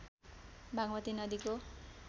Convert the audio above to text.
बागमती नदीको